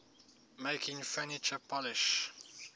making furniture polish